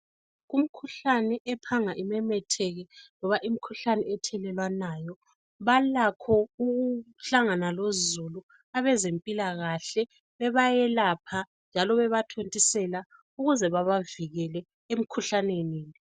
Kumkhuhlane ephanga imemetheke loba imikhuhlane ethelelwanayo balakho ukuhlangana lozulu abezempilakahle bebayelapha njalo beba thontisela ukuze babavikele emikhuhlaneni.